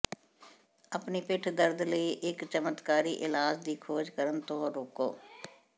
ਆਪਣੀ ਪਿੱਠ ਦਰਦ ਲਈ ਇੱਕ ਚਮਤਕਾਰੀ ਇਲਾਜ ਦੀ ਖੋਜ ਕਰਨ ਤੋਂ ਰੋਕੋ